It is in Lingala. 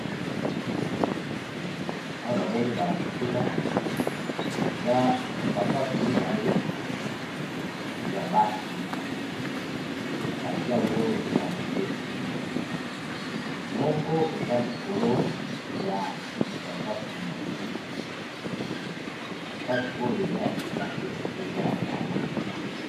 Awa namoni ba lakisi nga eza sapatu mibale ya basi, batie yango na se moko eza likolo ya sapatu mosusu sapatu oyo eza ya sika te mpe eza ya kala.